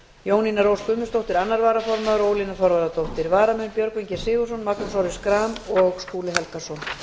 jónína rós guðmundsdóttir annar varaformaður og ólína þorvarðardóttir varamenn eru björgvin g sigurðsson magnús orri schram og skúli helgason